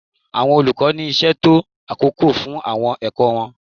Àwọn olùkọ́ ní ìṣètò àkókò fún àwọn ẹ̀kọ́ wọn.